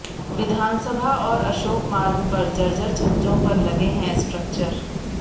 विधानसभा और अशोक मार्ग पर जर्जर छज्जों पर लगे हैं स्ट्रक्चर